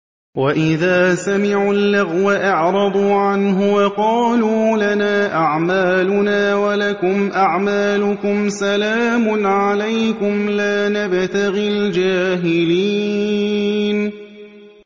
وَإِذَا سَمِعُوا اللَّغْوَ أَعْرَضُوا عَنْهُ وَقَالُوا لَنَا أَعْمَالُنَا وَلَكُمْ أَعْمَالُكُمْ سَلَامٌ عَلَيْكُمْ لَا نَبْتَغِي الْجَاهِلِينَ